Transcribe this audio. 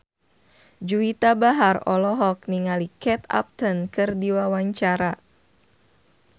Juwita Bahar olohok ningali Kate Upton keur diwawancara